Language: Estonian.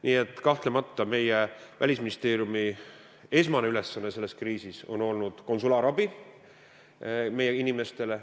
Nii et kahtlemata on Välisministeeriumi esmane ülesanne selles kriisis olnud konsulaarabi meie inimestele.